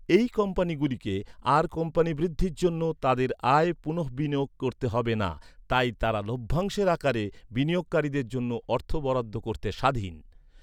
এই কোম্পানিগুলিকে আর কোম্পানির বৃদ্ধির জন্য, তাদের আয় পুনঃবিনিয়োগ করতে হবে না, তাই তারা লভ্যাংশের আকারে বিনিয়োগকারীদের জন্য অর্থ বরাদ্দ করতে স্বাধীন।